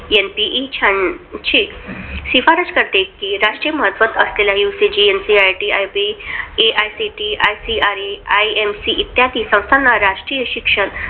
NPE शहाऐंशी शिफारस करते की राष्ट्रीय महत्त्व असलेल्या UGC, NCERT, NIEPA, AICTE, ICAR, IMC इत्यादी संस्थांना राष्ट्रीय शिक्षण